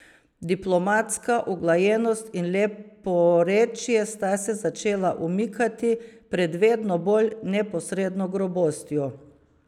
Diplomatska uglajenost in leporečje sta se začela umikati pred vedno bolj neposredno grobostjo.